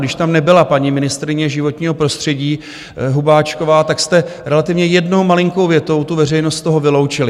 Když tam nebyla paní ministryně životního prostředí Hubáčková, tak jste relativně jednou malinkou větou tu veřejnost z toho vyloučili.